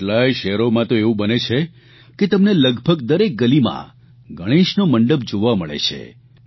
આજે કેટલાયે શહેરોમાં તો એવું બને છે કે તમને લગભગ દરેક ગલીમાં ગણેશનો મંડપ જોવા મળે છે